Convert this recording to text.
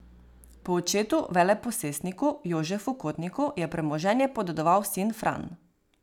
Po očetu veleposestniku Jožefu Kotniku je premoženje podedoval sin Fran.